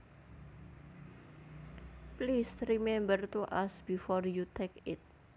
Please remember to ask before you take it